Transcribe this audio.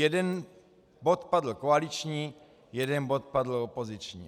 Jeden bod padl koaliční, jeden bod padl opoziční.